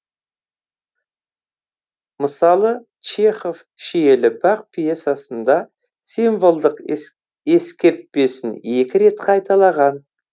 мысалы чехов шиелі бақ пьесасында символдық ескертпесін екі рет қайталаған